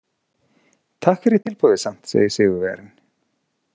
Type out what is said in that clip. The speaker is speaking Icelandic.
Takk fyrir tilboðið samt, segir sigurvegarinn.